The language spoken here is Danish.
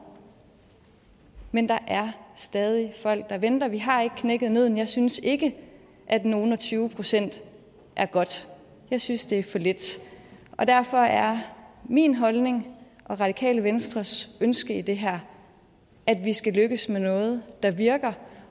men der er stadig folk der venter vi har ikke knækket nødden jeg synes ikke at nogle og tyve procent er godt jeg synes det er for lidt og derfor er min holdning og radikale venstres ønske i det her at vi skal lykkes med noget der virker